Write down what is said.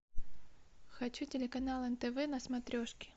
хочу телеканал нтв на смотрешке